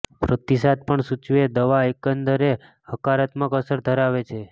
પ્રતિસાદ પણ સૂચવે દવા એકંદરે હકારાત્મક અસર ધરાવે છે